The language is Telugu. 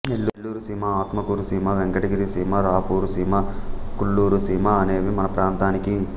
నెల్లూరు సీమ ఆత్మకూరు సీమ వెంకటగిరి సీమ రాపూరు సీమ కుల్లూరు సీమ అనేవి మన ప్రాంతానికి